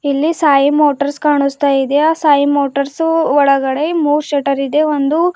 ಇಲ್ಲಿ ಸಾಯಿ ಮೋಟರ್ಸ್ ಕಾಣುಸ್ತಾ ಇದೆ ಆ ಸಾಯಿ ಮೋಟಾರ್ಸು ಒಳಗಡೆ ಮೂರ್ ಶಟರ್ ಇದೆ ಒಂದು--